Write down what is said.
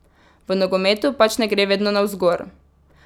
V nogometu pač ne gre vedno navzgor.